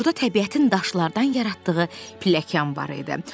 Orada təbiətin daşlardan yaratdığı pilləkan var idi.